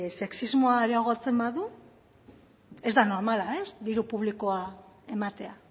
sexismoa areagotzen badu ez da normala diru publikoa ematea